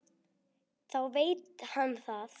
Þá veit hann það!